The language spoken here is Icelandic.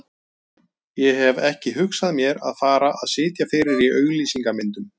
Ég hef ekki hugsað mér að fara að sitja fyrir á auglýsingamyndum.